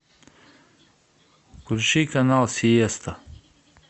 включи канал сиеста